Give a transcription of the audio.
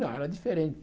Não, era diferente.